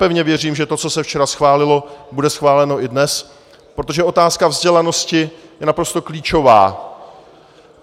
Pevně věřím, že to, co se včera schválilo, bude schváleno i dnes, protože otázka vzdělanosti je naprosto klíčová.